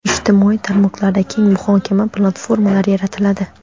ijtimoiy tarmoqlarda keng muhokama platformalari yaratiladi.